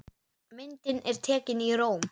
Myndin er tekin í Róm.